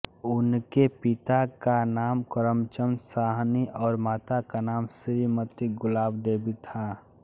उनके पिता का नाम करम चन्द साहनी और माता का नाम श्रीमती गुलाब देवी था